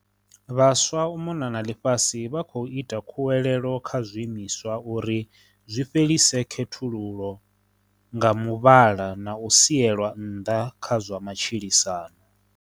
vVhaswa u mona na ḽifhasi vha khou ita khuwelelo kha zwiimiswa uri zwi fhelise khethululo nga muvhala na u sielwa nnḓa kha zwa matshilisano.